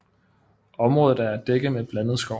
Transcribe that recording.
Området er dækket med blandet skov